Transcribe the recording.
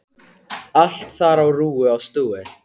Allt þar á rúi og stúi.